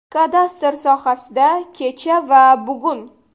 Kadastr sohasida kecha va bugun.